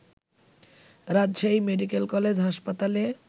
Rajshahi medical college হাসপাতালে